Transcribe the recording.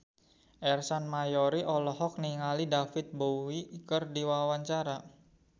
Ersa Mayori olohok ningali David Bowie keur diwawancara